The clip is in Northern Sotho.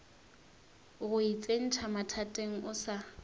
go itsentšha mathateng o sa